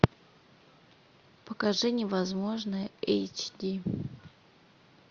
покажи невозможное эйч ди